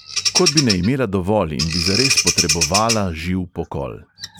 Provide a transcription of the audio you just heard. Kot bi ne imela dovolj in bi zares potrebovala živ pokol.